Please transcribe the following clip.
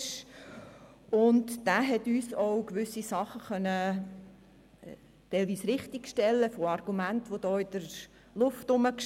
Dieser konnte gewisse Dinge bezüglich Argumenten, welche in der Luft lagen, richtigstellen.